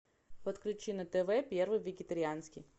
подключи на тв первый вегетарианский